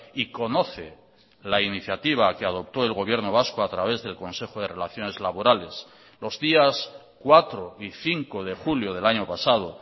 y conoce la iniciativa que adoptó el gobierno vasco a través del consejo de relaciones laborales los días cuatro y cinco de julio del año pasado